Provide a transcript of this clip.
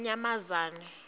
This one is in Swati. yakanyamazane